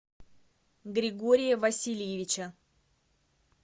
григория васильевича